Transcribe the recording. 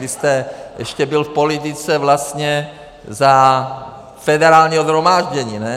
Vy jste ještě byl v politice vlastně za Federálního shromáždění, ne?